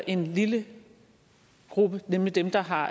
en lille gruppe nemlig dem der har